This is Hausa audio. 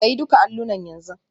Sayi duka allunan yanzu.